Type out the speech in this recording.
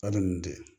A bɛ nin de